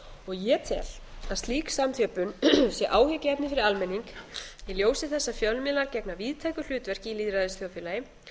ég tel að slík samþjöppun sé áhyggjuefni fyrir almenning í ljósi þess að fjölmiðlar gegna víðtæku hlutverki í lýðræðisþjóðfélagi